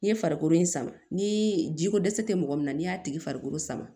N'i ye farikolo in sama ni ji ko dɛsɛ tɛ mɔgɔ min na n'i y'a tigi farikolo sama